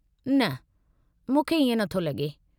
न, मूंखे इएं नथो लॻे।